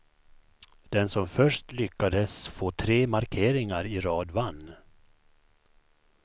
Den som först lyckades få tre markeringar i rad vann.